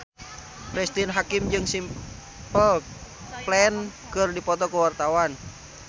Cristine Hakim jeung Simple Plan keur dipoto ku wartawan